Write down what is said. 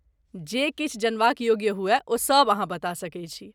जे किछु जनबाक योग्य हुअय ओ सब अहाँ बता सकैत छी।